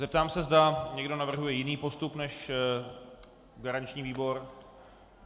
Zeptám se, zda někdo navrhuje jiný postup než garanční výbor.